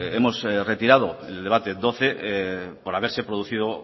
hemos retirado en el debate doce por haberse producido